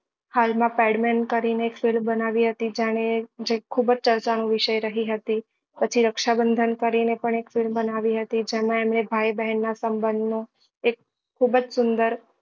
હાલ માં pad man કરી ને એક film બનાવી હતી જાણે જે ખુબ જ ચર્ચા નો વિષય રહી હતી પછી રક્ષાબંધન કરી ને પણ એક film બનાવી હતી જેમાં એમને ભાઈ બહેન ના સંબંધ નો એક ખુબ જ સુંદર